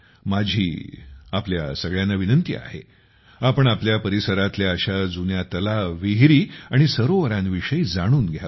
माझी आपल्या सगळ्यांना विनंती आहे आपण आपल्या परिसरातल्या अशा जुन्या तलाव विहिरी आणि सरोवरांविषयी जाणून घ्यावे